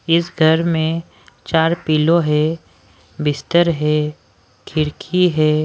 इस घर में चार पिलो है बिस्तर है खिरकी है।